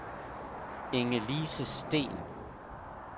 Ingelise Steen